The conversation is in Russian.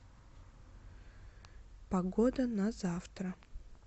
погода на завтра